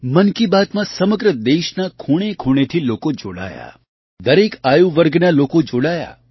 મન કી બાતમાં સમગ્ર દેશના ખૂણેખૂણેથી લોકો જોડાયા દરેક આયુવર્ગના લોકો જોડાયા